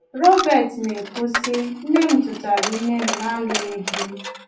Robert na-ekwu sị, nne m tụtara ime m n’alụghị di.